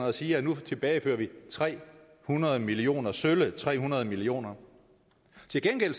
og siger at nu tilbagefører vi tre hundrede millioner sølle tre hundrede millioner til gengæld